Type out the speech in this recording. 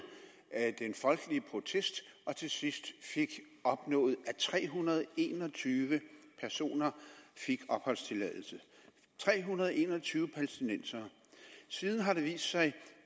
den folkelige protest og som til sidst fik opnået at tre hundrede og en og tyve personer fik opholdstilladelse tre hundrede og en og tyve palæstinensere siden har det vist sig